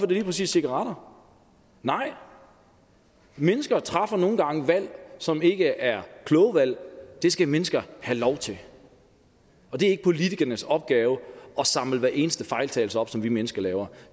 det lige præcis cigaretter nej mennesker træffer nogle gange valg som ikke er kloge valg og det skal mennesker have lov til og det er ikke politikernes opgave at samle hver eneste fejltagelse op som vi mennesker laver